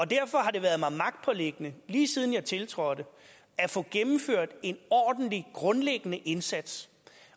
derfor har det været mig magtpåliggende lige siden jeg tiltrådte at få gennemført en ordentlig grundlæggende indsats